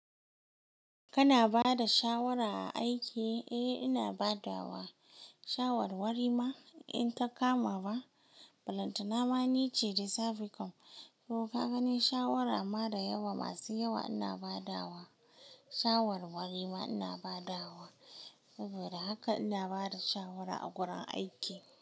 Kana bada shawara a aiki? Eh ina badawa shawarwarima in ta kama ba. Ballantana ma nice da saficom. To ka gani shawara ma da yawa masu yawa ina badawa shawarwarima ina badawa. Saboda haka ina bada shawara a gurin aiki.